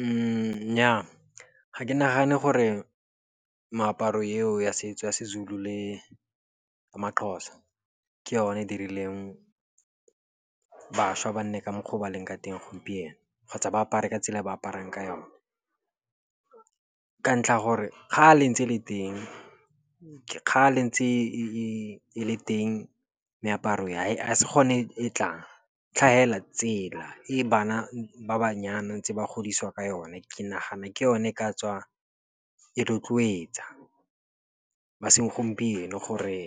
Nnyaa, ga ke nagane gore meaparo eo ya setso ya seZulu le maXhosa ke yone dirileng bašwa ba nne ka mokgwa o ba leng ka teng gompieno kgotsa ba apare ka tsela e ba aparang ka yone. Ka ntlha gore kgale ntse le teng, ke kgale ntse e le teng meaparo e, ga se gone e tlang. tsela e bana ba banyana ntse ba godisiwa ka yone, ke nagana ke yone e ka tswa e rotloetsa ba segompieno gore